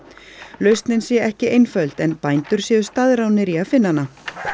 lausnin sé ekki einföld en bændur séu staðráðnir í að finna hana